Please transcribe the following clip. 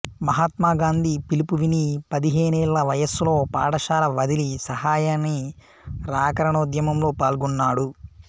మహాత్మా గాంధీ పిలుపు విని పదిహేనేళ్ల వయస్సులో పాఠశాల వదిలి సహాయనిరాకరణోద్యమంలో పాల్గొన్నాడు